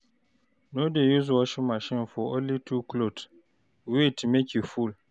No dey use washing machine for only two cloth, wait make e full.